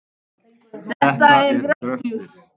Þetta er gröftur.